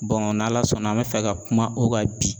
n'Ala sɔnna an bɛ fɛ ka kuma o kan bi